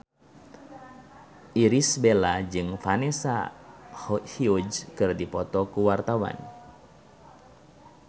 Irish Bella jeung Vanessa Hudgens keur dipoto ku wartawan